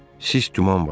Sis duman var idi.